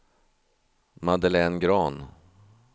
Madeleine Grahn